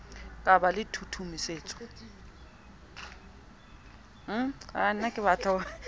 ka ba le tshusumetso e